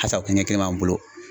Asa kelen b'an bolo.